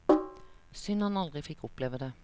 Synd han aldri fikk oppleve det.